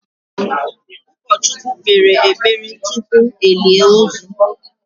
ụkọchukwu kpere ekpere tupu elie ozu.